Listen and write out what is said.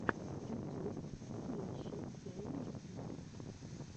ютюб поищи тейлор свифт